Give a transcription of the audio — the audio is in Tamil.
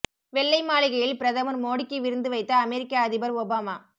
வெள்ளை மாளிகையில் பிரதமர் மோடிக்கு விருந்து வைத்த அமெரிக்க அதிபர் ஒபாமா